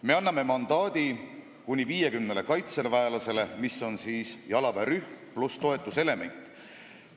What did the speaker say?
Me anname mandaadi kuni 50 tegevväelasele, mis on siis jalaväerühm pluss toetuselement.